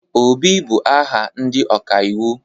Obi, bụ aha ndị ọkaiwu.